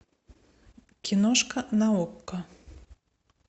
киношка на окко